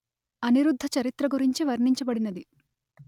అనిరుద్ధచరిత్ర గురించి వర్ణించబడినది